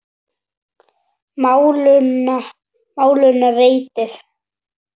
Málinu reddað.